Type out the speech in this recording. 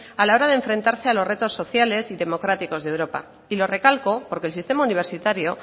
a la hora de enfrentarse a los retos sociales y democráticos de europa y lo recalco porque el sistema universitario